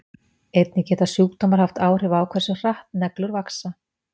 einnig geta sjúkdómar haft áhrif á hversu hratt neglur vaxa